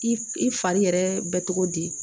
I i fari yɛrɛ bɛ cogo di